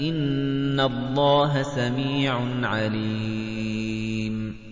إِنَّ اللَّهَ سَمِيعٌ عَلِيمٌ